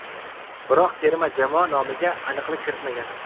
Biroq terma jamoa nomiga aniqlik kiritmagan.